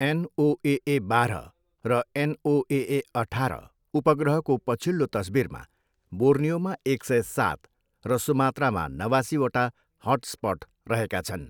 NOAA बाह्र र NOAA अठाह्र उपग्रहको पछिल्लो तस्वीरमा बोर्नियोमा एक सय सात र सुमात्रामा नवासीवटा हटस्पट रहेका छन्।